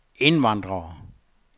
indvandrere